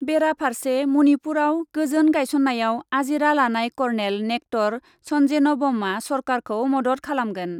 बेरा फार्से, मणिपुराव गोजोन गाइसन्नायाव आजिरा लानाय कर्नेल नेक्टर सन्जेनबमआ सरकारखौ मदद खालामगोन ।